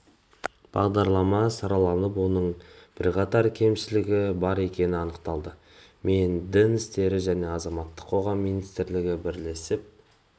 бағдарлама сараланып оның бірқатар кемшілігі бар екені анықталды мен дін істері және азаматтық қоғам министрлігі бірлесіп